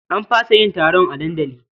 An fasa yin taron a dandali.